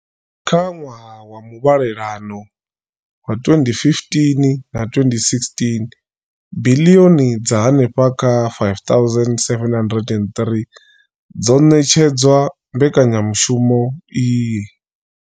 Kha ṅwaha wa muvhalelano wa 2015 na 16, biḽioni dza henefha kha R5 703 dzo ṋetshedzwa mbekanyamushumo iyi.